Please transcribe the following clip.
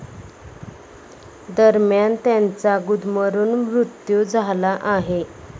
दरम्यान, त्यांचा गुदमरून मृत्यू झाला आहे.